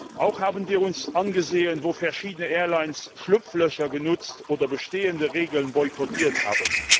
Wir haben uns auch angesehen, wo verschiedene Airlines Schlupflöcher genutzt oder bestehende Regeln boykottiert haben.